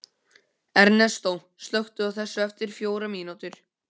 Ernestó, slökktu á þessu eftir fjórar mínútur.